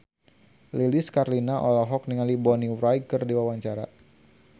Lilis Karlina olohok ningali Bonnie Wright keur diwawancara